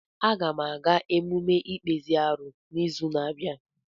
Aga m aga emume ikpezi arụ n'izu na-abịa.